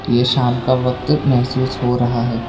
ये शाम का वक्त महसूस हो रहा है।